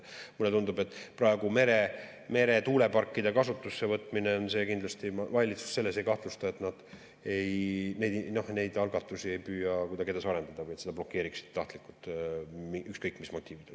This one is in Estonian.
Ma praegu meretuuleparkide kasutusse võtmisel kindlasti valitsust selles ei kahtlusta, et nad neid algatusi ei püüaks kuidagi edasi arendada või blokeeriksid tahtlikult, ükskõik mis motiividel.